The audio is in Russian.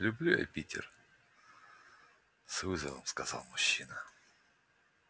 люблю я питер с вызовом сказал мужчина